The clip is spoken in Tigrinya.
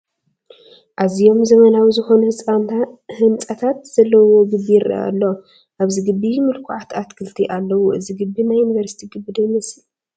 ኣዝዮም ዘመናዊ ዝኾኑ ህንፃታት ዘለዉዎ ግቢ ይርአ ኣሎ፡፡ ኣብዚ ግቢ ምልኩዓት ኣትክልቲ ኣለዉ፡፡ እዚ ግቢ ናይ ዩኒቨርሲቲ ግቢ ዶ ይመስል?